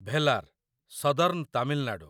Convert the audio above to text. Velar, southern Tamil Nadu